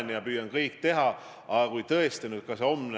See, kas Jüri Ratas on kraavihall või peaminister, ei muuda seda armastust.